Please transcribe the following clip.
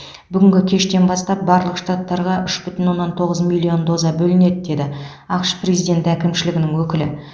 бүгінгі кештен бастап барлық штаттарға үш бүтін оннан тоғыз миллион доза бөлінеді деді ақш президенті әкімшілігінің өкілі